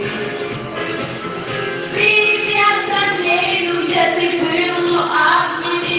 приятные люди они были ну ладно